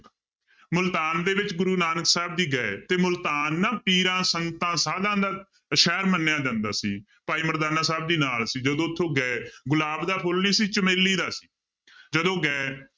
ਮੁਲਤਾਨ ਦੇ ਵਿੱਚ ਗੁਰੂ ਨਾਨਕ ਸਾਹਿਬ ਜੀ ਗਏ ਤੇ ਮੁਲਤਾਨ ਨਾ ਪੀਰਾਂ, ਸੰਤਾਂ, ਸਾਧਾਂ ਦਾ ਸ਼ਹਿਰ ਮੰਨਿਆ ਜਾਂਦਾ ਸੀ, ਭਾਈ ਮਰਦਾਨਾ ਸਾਹਿਬ ਜੀ ਨਾਲ ਸੀ ਜਦੋਂ ਉੱਥੋਂ ਗਏ ਗੁਲਾਬ ਦਾ ਫੁੱਲ ਨੀ ਸੀ ਚਮੇਲੀ ਦਾ ਸੀ ਜਦੋਂ ਗਏ